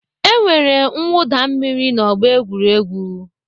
E nwere mwụda mmiri n'ọgbọ egwuregwu.